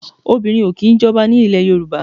Obìnrin o kì í jọba ní ilẹ̀ Yorùbá.